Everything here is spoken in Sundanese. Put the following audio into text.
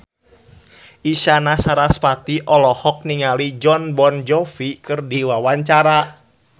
Isyana Sarasvati olohok ningali Jon Bon Jovi keur diwawancara